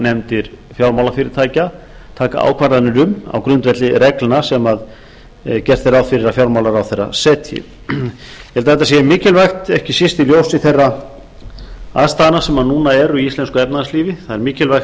afskriftanefndir fjármálafyrirtækja taka ákvarðanir um á grundvelli reglna sem gert er ráð fyrir að fjármálaráðherra setji ég held að þetta sé mikilvægt ekki síst í ljósi þeirra aðstæðna sem núna eru í íslensku efnahagslífi það er mikilvægt